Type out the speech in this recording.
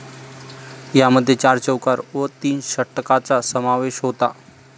यामध्ये चार चौकार व तीन षटकाचा समावेश होता.